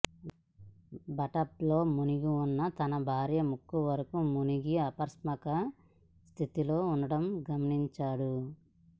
బాత్టబ్లో మునిగిన తన భార్య ముక్కు వరకు మునిగి అపాస్మరక స్థితిలో ఉండటం గమనించాడు